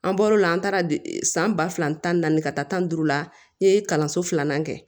An bɔr'o la an taara san ba fila tan ni naani ka taa tan ni duuru la n'i ye kalanso filanan kɛ